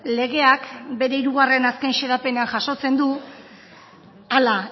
legeak bere hirugarren azken xedapena jasotzen du hala